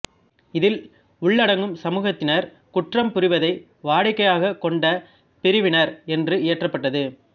இதில் உள்ளடங்கும் சமூகத்தினர் குற்றம் புரிவதை வாடிக்கையாகக் கொண்ட பிரிவினர் என்று இயற்றப்பட்டது